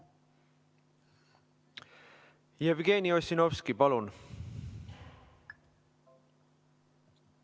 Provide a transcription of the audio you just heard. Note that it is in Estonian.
Jevgeni Ossinovski, palun!